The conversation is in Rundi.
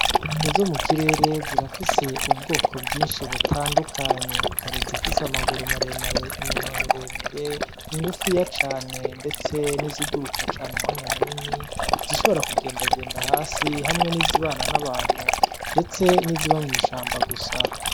Inyoni zo mu kirere zirafise ubwoko bwinshi butandukanye, hari izifise amaguru maremare, iminwa miremire, ngufiya cane ndetse n'iziguruka cane umwanya munini, zishobora kugendagenda hasi hamwe n'izibana n'abantu ndetse n'iziba mw'ishamba gusa.